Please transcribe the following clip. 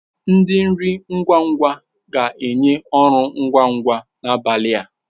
Ndi nri ngwa ngwa ga-enye ọrụ ngwa ngwa n'abalị a.